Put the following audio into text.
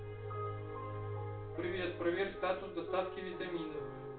привет проверь статус доставки витаминов